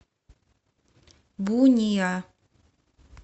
буниа